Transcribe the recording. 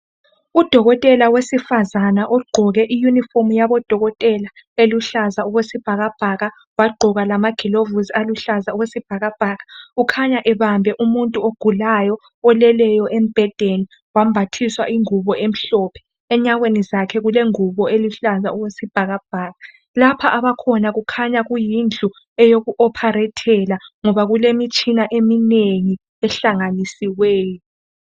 Udokotela wesifazana ogqoke iyunifomu yabodokotela eluhlaza okwesibhakabhaka wagqoka lamagilovusi aluhlaza okwesibhakabhaka ukhanya ebambe umuntu ogulayo, ulele embhedeni wambathiswa ingubo emhlophe. Enyaweni zakhe kukengubo eluhlaza okwesibhakabhaka. Lapha abakhona kukhanya kuyindlu eyokupharethela ngoba kulemitshina eminengi ehlanganisiweyo.